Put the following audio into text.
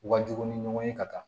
U ka jugu ni ɲɔgɔn ye ka taa